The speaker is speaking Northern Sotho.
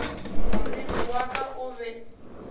moriri wa ka o be